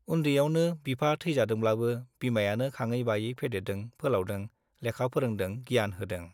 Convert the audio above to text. उन्दैयावनो बिफा थैजादोंब्लाबो बिमायानो खाङै-बायै फेदेरदों फोलावदों, लेखा फोरोंदों, गियान होदों।